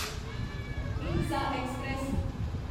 हिमसा express